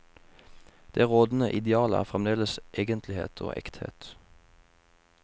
Det rådende ideal er fremdeles egentlighet og ekthet.